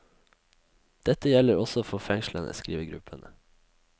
Dette gjelder også for fengslene, skriver gruppen.